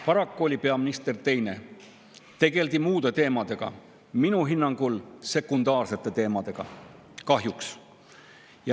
Paraku oli peaminister teine ja tegeldi muude teemadega, minu hinnangul sekundaarsete teemadega, kahjuks.